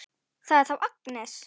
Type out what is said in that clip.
Það er þá Agnes!